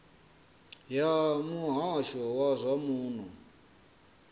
ya muhasho wa zwa muno